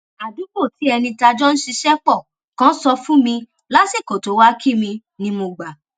àdúgbò tí ẹni táa jọ n ṣiṣẹ pọ kan sọ fún mi lásìkò tó wá kí mi ni mo gbà